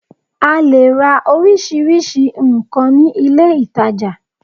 A leè ra orísirísi nkàn ní ilé ìtajà